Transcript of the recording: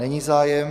Není zájem.